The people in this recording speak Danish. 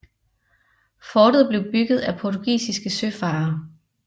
Fortet blev bygget af portugisiske søfarere